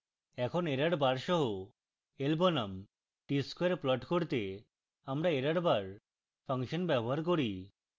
এখন error bar সহ l বনাম t square plot করতে আমরা errorbar ফাংশন bar করি